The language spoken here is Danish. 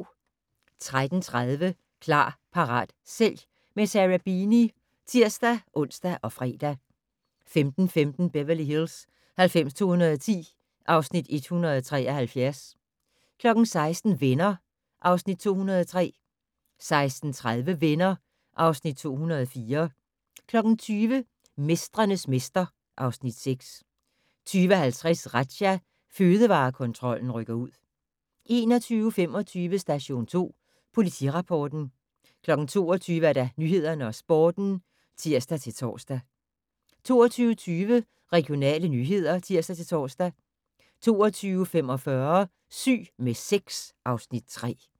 13:30: Klar, parat, sælg - med Sarah Beeny (tir-ons og fre) 15:15: Beverly Hills 90210 (Afs. 173) 16:00: Venner (Afs. 203) 16:30: Venner (Afs. 204) 20:00: Mestrenes mester (Afs. 6) 20:50: Razzia - Fødevarekontrollen rykker ud 21:25: Station 2 Politirapporten 22:00: Nyhederne og Sporten (tir-tor) 22:20: Regionale nyheder (tir-tor) 22:45: Syg med sex (Afs. 3)